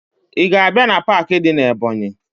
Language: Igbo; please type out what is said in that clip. Ị ga-abịa na paakị dị na Ebọnyị?